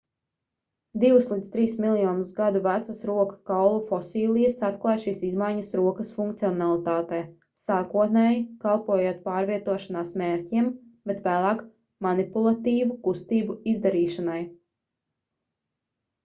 divus līdz trīs miljonus gadu vecas roku kaulu fosilijas atklāj šīs izmaņas rokas funkcionalitātē sākotnēji kalpojot pārvietošanās mērķiem bet vēlāk manipulatīvu kustību izdarīšanai